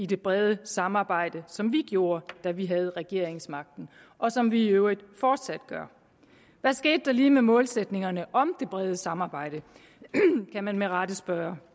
det brede samarbejde som vi gjorde da vi havde regeringsmagten og som vi i øvrigt fortsat gør hvad skete der lige med målsætningerne om det brede samarbejde kan man med rette spørge